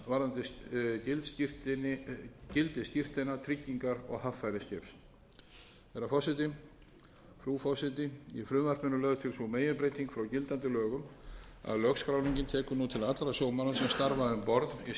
varðandi gildi skírteina tryggingar og haffæri skips frú forseti í frumvarpinu er lögð til sú meginbreyting frá gildandi lögum að lögskráningin tekur nú til allra sjómanna sem starfa um borð í skipum sem skráningarskyld eru